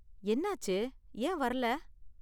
என்னாச்சு, ஏன் வர்ரல?